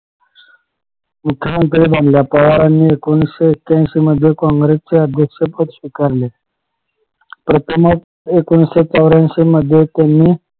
पवारांनी एकोणीशे आठ्यांशी मध्ये काँग्रेस चे अध्यक्ष पद स्वीकारले प्रथमच एकोणीशे चवर्यांशी मध्ये त्यांनी